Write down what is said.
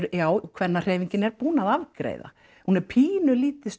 kvennahreyfingin er búin að afgreiða hún er pínulítið